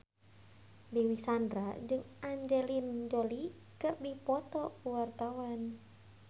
Dewi Sandra jeung Angelina Jolie keur dipoto ku wartawan